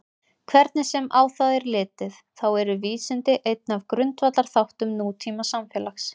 Hvernig sem á það er litið þá eru vísindi einn af grundvallarþáttum nútímasamfélags.